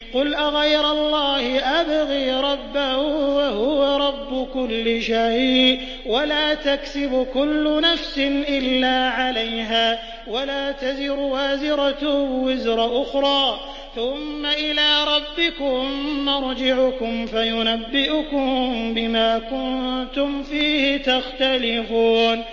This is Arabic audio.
قُلْ أَغَيْرَ اللَّهِ أَبْغِي رَبًّا وَهُوَ رَبُّ كُلِّ شَيْءٍ ۚ وَلَا تَكْسِبُ كُلُّ نَفْسٍ إِلَّا عَلَيْهَا ۚ وَلَا تَزِرُ وَازِرَةٌ وِزْرَ أُخْرَىٰ ۚ ثُمَّ إِلَىٰ رَبِّكُم مَّرْجِعُكُمْ فَيُنَبِّئُكُم بِمَا كُنتُمْ فِيهِ تَخْتَلِفُونَ